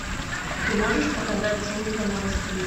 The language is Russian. ты можешь показать служба новостей